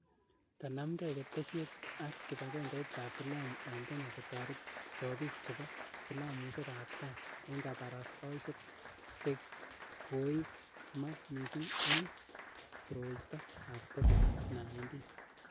Kanamgei ketesyet ak kibagengeit ap filamu ing' Kenya kotaret chobik chebo filamusiek ap kaa eng' kabarastaosiek chegoiimak missing ing' koroito ab Covid-19.